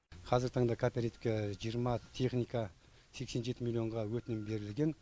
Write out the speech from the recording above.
қазіргі таңда кооперативке жиырма техника сексен жеті миллионға өтінім берілген